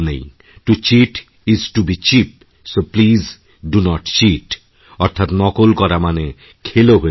to cheat is to be cheap so please do not cheat অর্থাৎ নকল করা মানে খেলো হয়ে যাওয়া